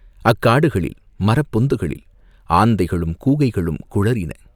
அக்காடுகளில் மரப் பொந்துகளில் ஆந்தைகளும் கூகைகளும் குழறின.